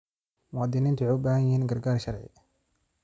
Muwaadiniintu waxay u baahan yihiin gargaar sharci.